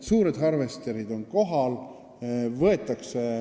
Suured harvesterid on kohal.